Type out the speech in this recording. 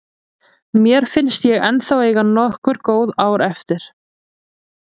Mér finnst ég ennþá eiga nokkur góð ár eftir.